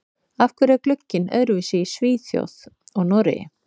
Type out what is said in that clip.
Af hverju er glugginn öðruvísi í Svíþjóð og Noregi?